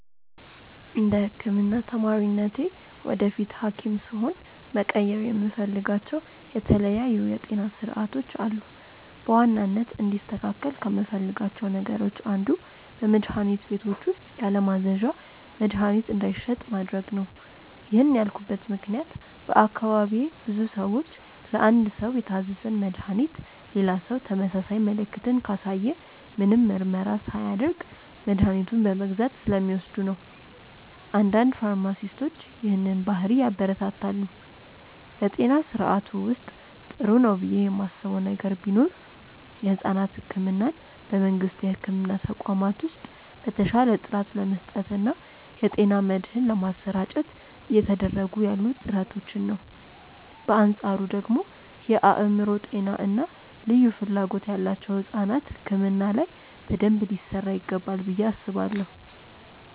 እንደ ህክምና ተማሪነቴ ወደፊት ሀኪም ስሆን መቀየር የምፈልጋቸው የተለያዩ የጤና ስርዓቶች አሉ። በዋናነት እንዲስተካከል ከምፈልጋቸው ነገሮች አንዱ በመድሀኒት ቤቶች ውስጥ ያለማዘዣ መድሀኒት እንዳይሸጥ ማድረግ ነው። ይህን ያልኩበት ምክንያት በአካባቢዬ ብዙ ሰዎች ለአንድ ሰው የታዘዘን መድሃኒት ሌላ ሰው ተመሳሳይ ምልክትን ካሳየ ምንም ምርመራ ሳያደርግ መድኃኒቱን በመግዛት ስለሚወስዱ ነው። አንዳንድ ፋርማሲስቶች ይህንን ባህሪ ያበረታታሉ። በጤና ስርዓቱ ውስጥ ጥሩ ነው ብዬ ማስበው ነገር ቢኖር የሕፃናት ሕክምናን በመንግስት የሕክምና ተቋማት ውስጥ በተሻለ ጥራት ለመስጠት እና የጤና መድህን ለማሰራጨት እየተደረጉ ያሉ ጥረቶችን ነው። በአንፃሩ ደግሞ እንደ የአእምሮ ጤና እና ልዩ ፍላጎት ያላቸው ሕፃናት ሕክምና ላይ በደንብ ሊሰራ ይገባል ብዬ አስባለሁ።